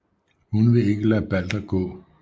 Hun vil ikke lade Balder gå